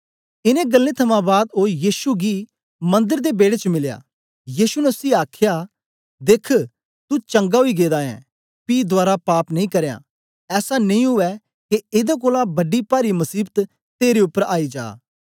इनें गल्लें थमां बाद ओ यीशु गी मंदर दे बेड़े च मिलया यीशु ने उसी आखया देख्ख तू चंगा ओई गेदा ऐं पी दवारा पाप नी करयां ऐसा नेई उवै के एदा कोलां बड़ी पारी मसीबत तेरे उपर आई जा